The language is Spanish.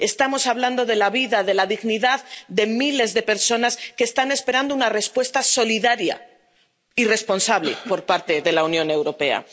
Estamos hablando de la vida, de la dignidad de miles de personas que están esperando una respuesta solidaria y responsable por parte de la Unión Europea.